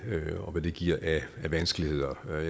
og hvad det giver af vanskeligheder jeg